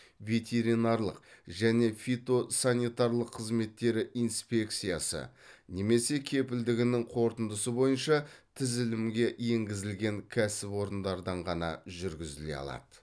ветеринарлық және фитосанитарлық қызметтері инспекциясы немесе кепілдігінің қорытындысы бойынша тізілімге енгізілген кәсіпорындардан ғана жүргізіле алады